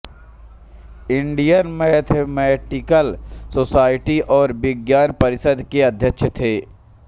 Indian mathematical society और विज्ञान परिषद के अध्यक्ष थे